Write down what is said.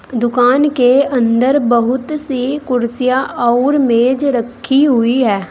दुकान के अंदर बहुत सी कुर्सियां और मेज रखी हुई है।